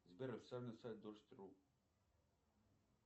сбер официальный сайт дождь ру